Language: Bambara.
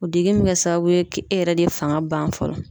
O degun mɛ kɛ sababu ye ke e yɛrɛ de fanga ban fɔlɔ.